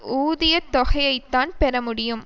உதியத்தொகையைத்தான் பெற முடியும்